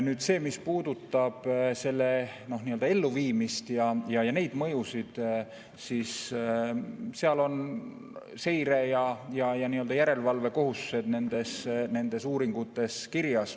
Nüüd, mis puudutab selle elluviimist ja neid mõjusid, siis seire ja järelevalve kohustused on nendes uuringutes kirjas.